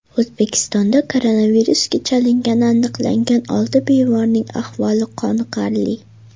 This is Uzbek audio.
O‘zbekistonda koronavirusga chalingani aniqlangan olti bemorning ahvoli qoniqarli.